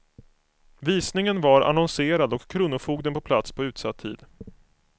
Visningen var annonserad och kronofogden på plats på utsatt tid.